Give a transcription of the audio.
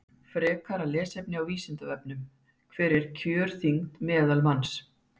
Frekara lesefni á Vísindavefnum Hver er kjörþyngd meðalmanns?